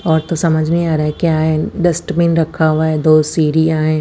और तो समझ नहीं आ रहा है क्या है डस्टबिन रखा हुआ है दो सीढियांएच--